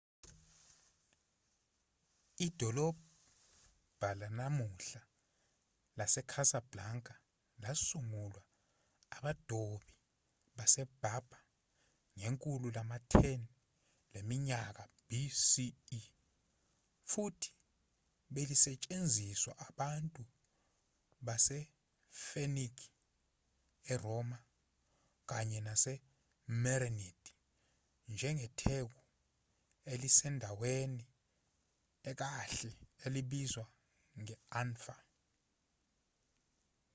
idolobha lanamuhla lasecasablanca lasungulwa abadobi baseberber ngekhulu lama-10 leminyaka bce futhi belisetshenziswa abantu basefenike eroma kanye namamerenid njengetheku elisendaweni ekahle elibizwa nge-anfa